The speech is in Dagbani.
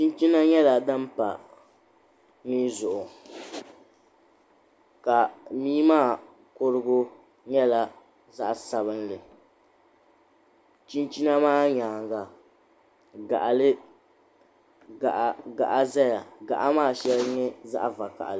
Chinchina nyɛla din pa mii zuɣu ka mii maa kurugu nyɛla zaɣa sabinli chinchina maa nyaanga gaɣa zaya gaɣa maa sheŋa nyɛ zaɣa vakahali.